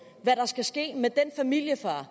hvad der skal ske med den familiefar